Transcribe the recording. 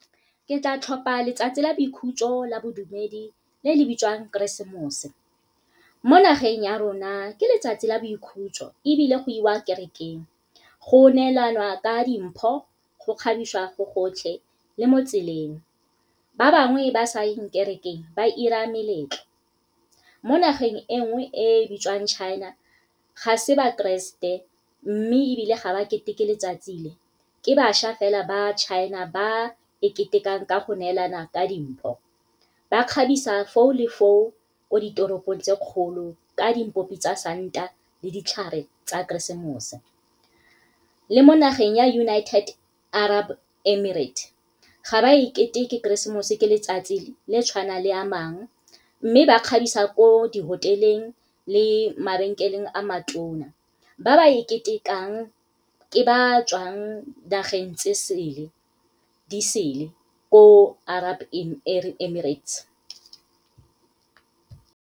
Ke tla tlhopha letsatsi la boikhutso la bodumedi le le bitswang keresemose. Mo nageng ya rona ke letsatsi la boikhutso ebile goiwa kerekeng, go neelana ka dimpho go kgabisiwa go gotlhe le mo tseleng. Ba bangwe ba sa yeng kerekeng, ba ira meletlo. Mo nageng e nngwe e bitsiwang China ga se ba keresete, mme ebile ga ba keteke letsatsi le, ke bašwa fela ba China ba e ketekang ka go neelana ka dimpho. Ba kgabisa foo le foo ko ditoropong tse kgolo ka dipopi tsa santa le ditlhare tsa keresemose. Le mo nageng ya United Arab Emirates ga ba e keteke keresemose ke letsatsi le tshwanang le a mang, mme ba kgabisa ko di-hotel-eng le mabenkeleng a matona. Ba ba e ketekang ke ba tswang nageng di sele ko Arab Emirates.